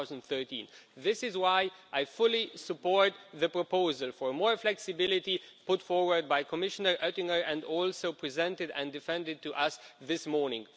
2013. This is why I fully support the proposal for more flexibility, put forward by Commissioner Ottinger and also presented and defended to us this morning.